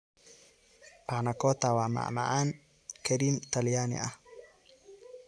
Pannacotta waa macmacaan kareem Talyaani ah.